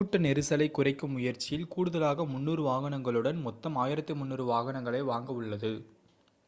கூட்ட நெரிசலை குறைக்கும் முயற்சியில் கூடுதலாக 300 வாகனங்களுடன் மொத்தம் 1,300 வாகனங்களை வாங்க உள்ளது